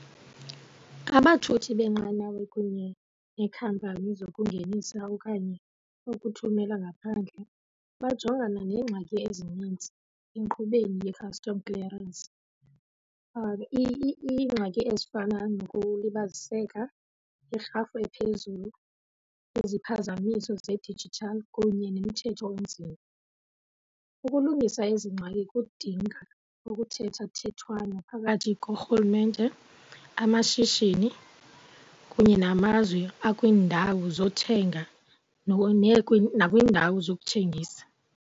Abathuthi beenqanawe kunye neekhampani zokungenisa okanye ukuthumela ngaphandle bajongana neengxaki ezinintsi enkqubeni ye-custom clearance. Iingxaki ezifana nokulibaziseka, irhafu ephezulu, iziphazamiso zedijithali kunye nomthetho onzima. Ukulungisa ezi ngxaki kudinga ukuthethwathethwana phakathi korhulumente, amashishini kunye namazwe akwiindawo zothenga nakwiindawo zokuthengisa.